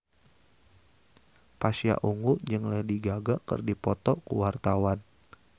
Pasha Ungu jeung Lady Gaga keur dipoto ku wartawan